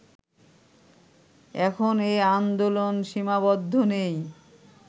এখন এ আন্দোলন সীমাবদ্ধ নেই